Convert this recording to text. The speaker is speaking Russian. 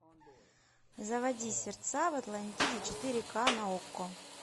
заводи сердца в атлантиде четыре ка на окко